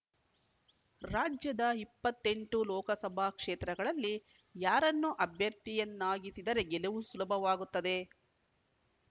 ರಾಜ್ಯದ ಇಪ್ಪತ್ತ್ ಎಂಟು ಲೋಕಸಭಾ ಕ್ಷೇತ್ರಗಳಲ್ಲಿ ಯಾರನ್ನು ಅಭ್ಯರ್ಥಿಯನ್ನಾಗಿಸಿದರೆ ಗೆಲುವು ಸುಲಭವಾಗುತ್ತದೆ